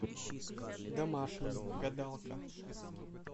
домашний гадалка